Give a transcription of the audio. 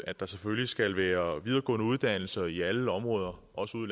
at der selvfølgelig skal være videregående uddannelser i alle områder også ude